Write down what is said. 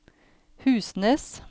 Husnes